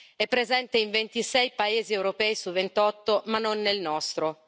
È presente in 26 paesi europei su 28 ma non nel nostro.